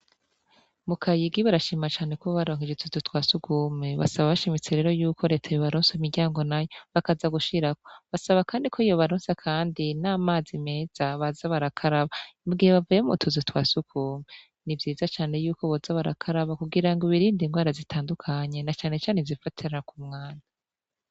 Mu kayigi barashima cane ko baronse utuzu twa sugumwe, basaba bashimitse yuko reta yo baronsa imiryango nayo bakaja gushiraho, basaba kandi ko yobaronsa kandi n'amazi meza, baza barakaraba mugihe bavuye m'utuzu twa sugumwe, n'ivyiza cane yuko boza barakaraba kugira ngo birinde ingwara zitandukanye na cane cane zifatira k'umwanda.